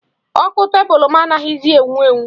Ọkụ tebụlụ m anaghịzi enwu enwu.